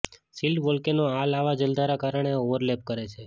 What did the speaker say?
shield volcano આ લાવા જલધારા કારણે ઓવરલેપ કરે છે